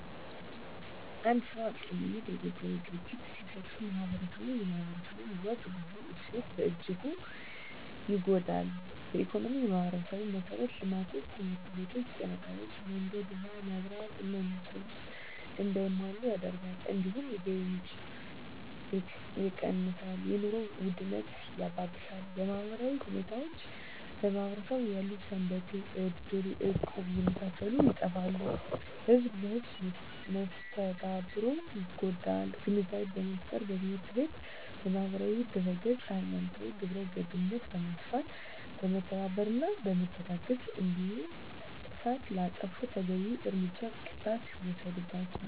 አንድ ሰው ሀቀኝነት የጎደለው ድርጊት ሲፈፀም ማህበረስቡ የማህበረሰቡ ወግ ባህል እሴቶች በእጅጉ ይጎዳል በኢኮኖሚ የማህበረሰቡን መሠረተ ልማቶች( ትምህርት ቤቶች ጤና ጣቢያ መንገድ ውሀ መብራት እና የመሳሰሉት) እንዳይሟሉ ያደርጋል እንዲሁም የገቢ ምንጭ የቀንሳል የኑሮ ውድነት ያባብሳል በማህበራዊ ሁኔታዎች በማህበረሰቡ ያሉ ሰንበቴ እድር እቁብ የመሳሰሉት ይጠፋሉ ህዝብ ለህዝም መስተጋብሩ ይጎዳል ግንዛቤ በመፍጠር በትምህርት ቤት በማህበራዊ ድህረገፅ ሀይማኖታዊ ግብረገብነት በማስፋት በመተባበርና በመተጋገዝ እንዲሁም ጥፍት ላጠፉት ተገቢዉን እርምጃና ቅጣት ሲወሰድባቸው